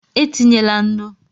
E tinyela nnu!